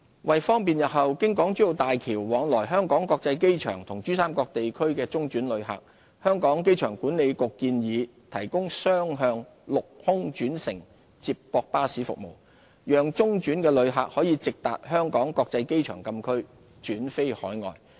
為方便日後經港珠澳大橋往來香港國際機場與珠三角地區的中轉旅客，香港機場管理局建議提供雙向陸空轉乘接駁巴士服務，讓中轉旅客可直達香港國際機場禁區轉飛海外。